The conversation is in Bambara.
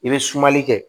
I bɛ sumali kɛ